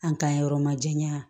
An ka yɔrɔ ma jɛya